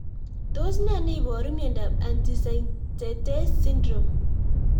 Tos nee neiparu miondop Antisynthetase syndrome